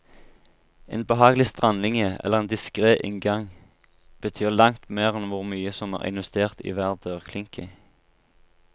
En behagelig strandlinje eller en diskret inngang betyr langt mer enn hvor mye som er investert i hver dørklinke.